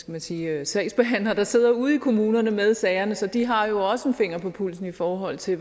man sige sagsbehandlere der sidder ude i kommunerne med sagerne så de har jo også en finger på pulsen i forhold til